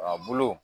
A bolo